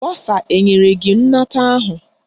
Bọsa enyere gị nnata ahụ?